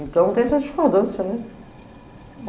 Então tem essa discordância, né?